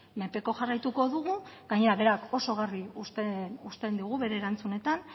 menpeko jarraituko dugu gainera berak oso garbi uzten digu bere erantzunetan